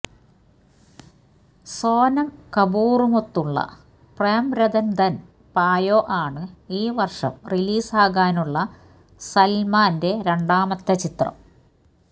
സോനം കപൂറുമൊത്തുള്ള പ്രേം രതൻ ധൻ പായോ ആണ് ഈ വർഷം റിലീസാകാനുള്ള സൽമാന്റെ രണ്ടാമത്തെ ചിത്രം